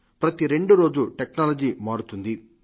ప్రతి రెండో రోజు టెక్నాలజీ మారుతుంది